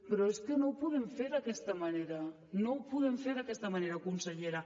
però és que no ho podem fer d’aquesta manera no ho podem fer d’aquesta manera consellera